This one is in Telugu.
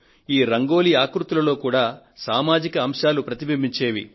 ఈ రంగోలీ ఆకృతులలో సామాజిక అంశాలు ప్రతిబింబించేవి